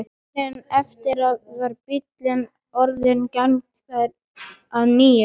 Morguninn eftir var bíllinn orðinn gangfær að nýju.